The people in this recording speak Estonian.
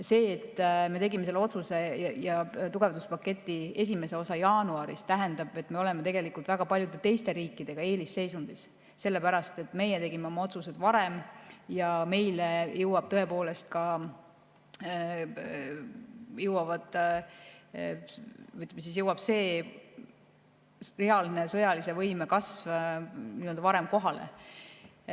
See, et me tegime selle otsuse ja tugevduspaketi esimese osa jaanuaris, tähendab, et me oleme tegelikult väga paljude teiste riikidega võrreldes eelisseisundis, sellepärast et meie tegime oma otsused varem ja meile jõuab tõepoolest see sõjalise võime reaalne kasv varem kohale.